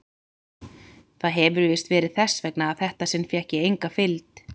Það hefir víst verið þess vegna að þetta sinn fékk ég enga fylgd.